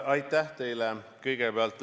Aitäh teile!